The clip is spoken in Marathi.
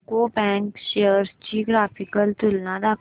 यूको बँक शेअर्स ची ग्राफिकल तुलना दाखव